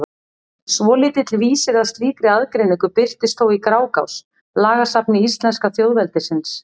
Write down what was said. Svolítill vísir að slíkri aðgreiningu birtist þó í Grágás, lagasafni íslenska þjóðveldisins.